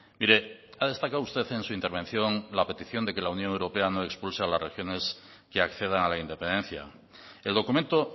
mire ha destacado usted en su intervención la petición de que la unión europea no expulse a las regiones que accedan a la independencia el documento